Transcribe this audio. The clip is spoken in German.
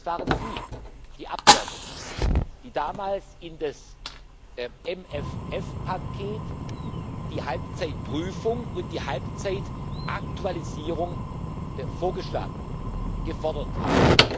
Es waren Sie, die Abgeordneten, die damals für das MFR-Paket die Halbzeitüberprüfung und die Halbzeitaktualisierung vorgeschlagen, gefordert haben.